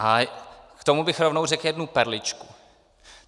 A k tomu bych rovnou řekl jednu perličku.